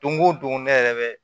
Don o don ne yɛrɛ bɛ